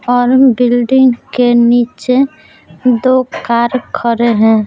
और बिल्डिंग के नीचे दो कार खड़े हैं।